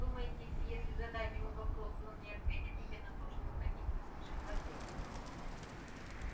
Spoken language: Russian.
думаете если задать ему вопрос он не ответит именно то что вы хотите услышать в ответ